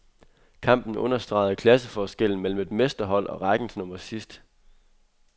Kampen understregede klasseforskellen mellem et mesterhold og rækkens nummer sidst.